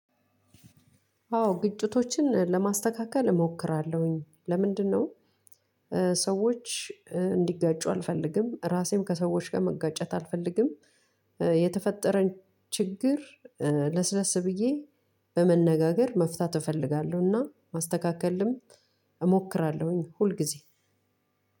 አዎ ግጭቶችን ለማስተካከል እሞክራለሁኝ ለምንድነው ሰወች እንዲጋጩ አልፈልግም። እራሴም ከሰወች ጋር መጋጨት አልፈልግም። የተፈጠረን ችግር ለስለስ ብዬ በመነጋገር መፍታት እፈልጋለሁና ማስተካከልም እሞክራለሁኝ ሁልጊዜ